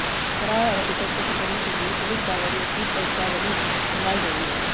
फरार आरोपितों को पकड़ने के लिए पुलिस बावरियों की वंशावली खंगाल रही है